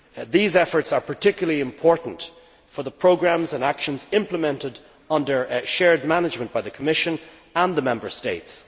These efforts are particularly important for the programmes and actions implemented under shared management by the Commission and the Member States.